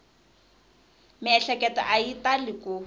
miehleketo a yi tali ku